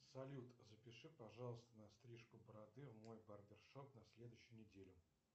салют запиши пожалуйста на стрижку бороды в мой барбершоп на следующей неделе